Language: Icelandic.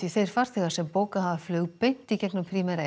þeir farþegar sem bókað hafa flug beint í gegnum Primera